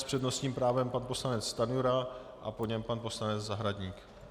S přednostním právem pan poslanec Stanjura a po něm pan poslanec Zahradník.